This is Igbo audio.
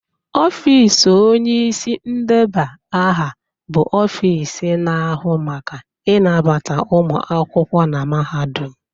Ofiisi onyeisi ndeba aha bụ Ofiisi na ahụ maka ịnabata ụmụ akwụkwọ na mahadum.